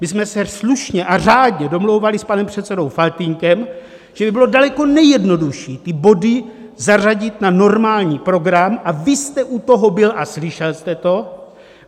My jsme se slušně a řádně domlouvali s panem předsedou Faltýnkem, že by bylo daleko nejjednodušší ty body zařadit na normální program, a vy jste u toho byl a slyšel jste to.